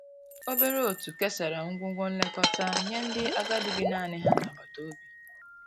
obere otu kesara ngwugwo nlekọta nye ndi agadi bi naani ha n'agbata obi.